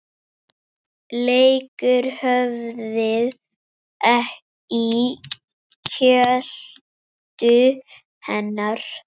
Leggur höfuðið í kjöltu hennar.